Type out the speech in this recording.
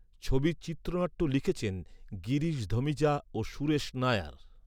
ছবির চিত্রনাট্য লিখেছেন, গিরিশ ধমিজা ও সুরেশ নায়ার।